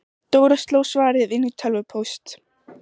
Dóra sló svarið inn í tölvupóst.